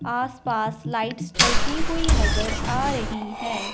आस पास लाइट्स चलती हुई नजर आ रही है।